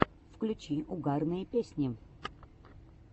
включи угарные песни